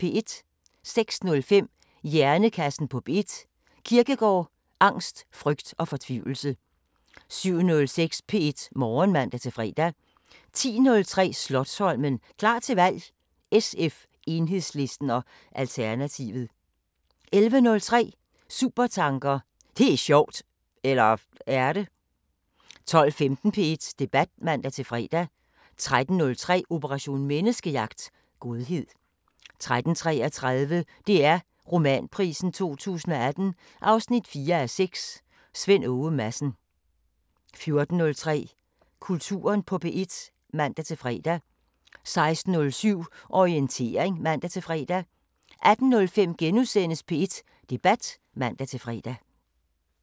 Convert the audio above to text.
06:05: Hjernekassen på P1: Kierkegaard, angst, frygt og fortvivlelse 07:06: P1 Morgen (man-fre) 10:03: Slotsholmen – klar til valg: SF, Enhedslisten og Alternativet 11:03: Supertanker: Det er sjovt! – eller er det? 12:15: P1 Debat (man-fre) 13:03: Operation Menneskejagt: Godhed 13:33: DR Romanprisen 2018 4:6 – Svend Åge Madsen 14:03: Kulturen på P1 (man-fre) 16:07: Orientering (man-fre) 18:05: P1 Debat *(man-fre)